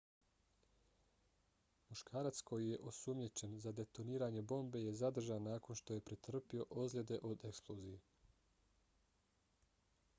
muškarac koji je osumnjičen za detoniranje bombe je zadržan nakon što je pretrpio ozljede od eksplozije